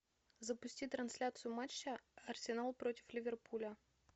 запусти трансляцию матча арсенал против ливерпуля